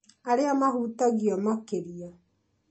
arĩa mahutagio makĩria